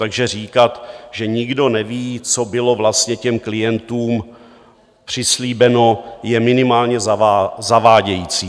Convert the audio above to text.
Takže říkat, že nikdo neví, co bylo vlastně těm klientům přislíbeno, je minimálně zavádějící.